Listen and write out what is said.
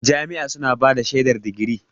Jami'a suna bada shaidar digiri.